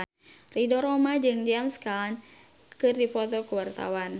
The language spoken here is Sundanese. Ridho Roma jeung James Caan keur dipoto ku wartawan